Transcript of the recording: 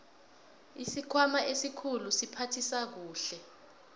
isikhwama esikhulu siphathisa kuhle